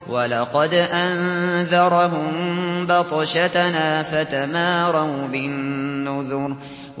وَلَقَدْ أَنذَرَهُم بَطْشَتَنَا فَتَمَارَوْا بِالنُّذُرِ